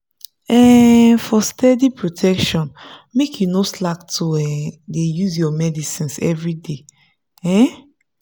um for steady protection make you no slack to um dey use your medicines everyday. um